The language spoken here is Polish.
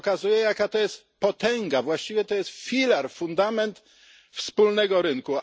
To pokazuje, jaka to jest potęga, właściwie to jest filar, fundament wspólnego rynku.